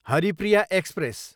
Haripriya express